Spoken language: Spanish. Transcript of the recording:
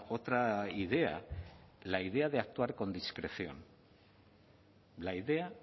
otra idea la idea de actuar con discreción la idea